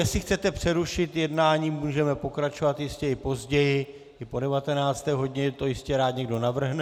Jestli chcete přerušit jednání, můžeme pokračovat jistě i později, i po 19. hodině, to jistě rád někdo navrhne.